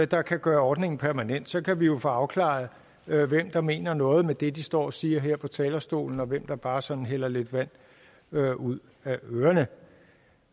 der kan gøre ordningen permanent så kan vi jo få afklaret hvem der mener noget med det de står og siger her på talerstolen og hvem der bare sådan hælder lidt vand ud af ørerne